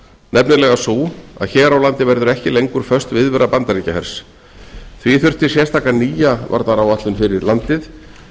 nefnilega sú að hér á landi verður ekki lengur föst viðvera bandaríkjahers því þurfti sérstaka nýja varnaráætlun fyrir ísland